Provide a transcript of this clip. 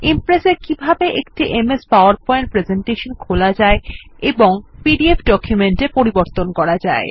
Impress এ কিভাবে একটি এমএস পাওয়ারপয়েন্ট প্রেসেন্টেশন খোলা যায় এবং পিডিএফ ডকুমেন্ট এ পরিবর্তন করা যায়